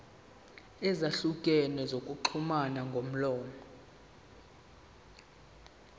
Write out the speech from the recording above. ezahlukene zokuxhumana ngomlomo